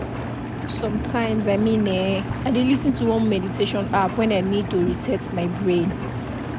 sometimes i mean[um]i dey lis ten to one meditation app when i need to reset my brain